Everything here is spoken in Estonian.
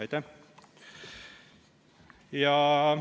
Aitäh!